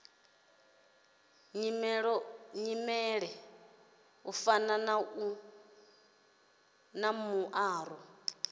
nyimele u fana na muaro